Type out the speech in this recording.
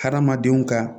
Hadamadenw ka